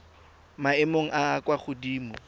maemong a a kwa godimo